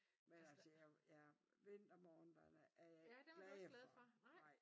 Men altså ja vintermorgnerne er ikke glade for nej